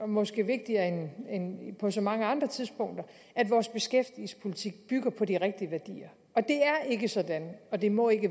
måske vigtigere end på så mange andre tidspunkter at vores beskæftigelsespolitik bygger på de rigtige værdier det er ikke sådan og det må ikke